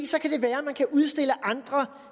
så kan det være at man kan udstille andre